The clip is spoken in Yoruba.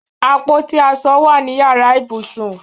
Àpótí aṣọ wà ní yàrá ìbùsùn